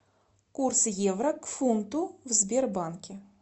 курс евро к фунту в сбербанке